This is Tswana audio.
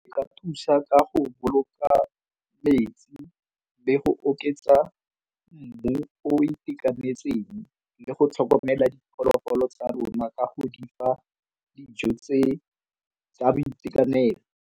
E ka thusa ka go boloka metsi be go oketsa mmu o itekanetseng le go tlhokomela diphologolo tsa rona ka go di fa dijo tsa boitekanelo.